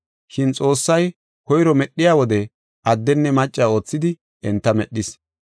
Shin Xoossay koyro medhiya wode, addenne macca oothidi, enta medhis.